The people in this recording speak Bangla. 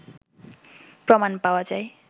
প্রমাণ পাওয়া যায়